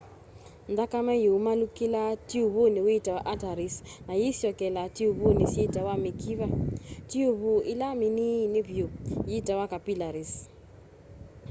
nthakame yumaalukilaa tiuvuni witawa arteries na yîisyokela tiuvuni syitawa mikiva. tiuvu ila miniini vyu yitawa capillaries